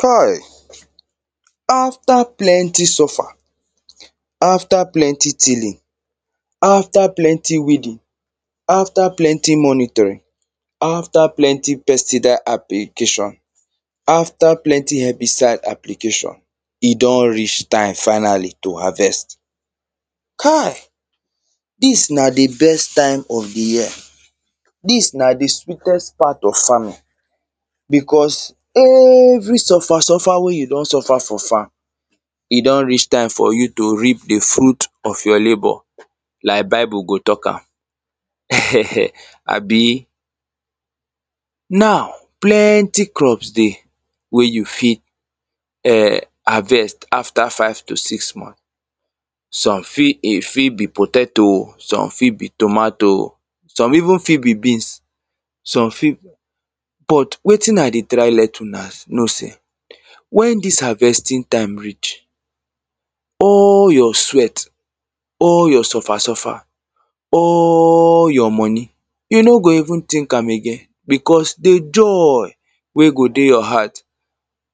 Kai! After plenty suffer, after plenty tilling, after plenty weeding, after plenty monitoring, after plenty pestidal application after plenty herbicide application, e don reach time finally to harvest. Kai! Dis na the best time of the year. Dis na the sweetest part of farming. Because every suffer, suffer wey you don suffer for farm e don reach time for you to reap the fruit of your labour, lak Bible go talk am. Abi? Now, plenty crops dey wey you fit, um, harvest after five to six month. Some fit, e fit be potato o, some fit be tomato o, some even fit be beans. Some fit but, wetin I dey try let una know say when harvesting time reach, all your sweat, all your suffer, suffer all your money, you no go even think am again because the joy wey go dey your heart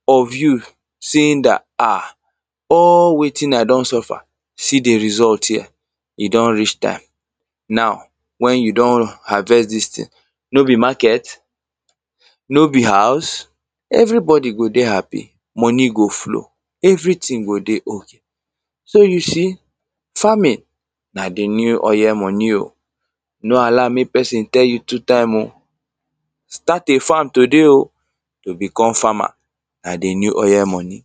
of you saying dat um, all wetin I don suffer, see the result here e don reach time. Now, when you don harvest dis thing, no be market? No be house? Everybody go dey happy, money go flow, everything go dey okay. So, you see, farming na the new oil money o, no allow mek person tell you two time o. Start a farm today o. To become farmer na the new oil money.